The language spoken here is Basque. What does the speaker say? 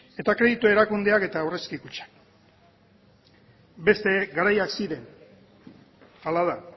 eta kreditu erakundeak eta aurrezki kutxak beste garaiak ziren hala da